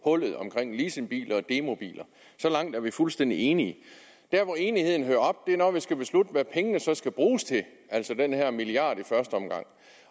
hullet omkring leasingbiler og demobiler så langt er vi fuldstændig enige der hvor enigheden hører op er når vi skal beslutte hvad pengene så skal bruges til altså den her milliard kroner i første omgang